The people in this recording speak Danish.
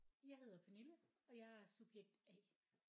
Jeg hedder Pernille og jeg er subjekt A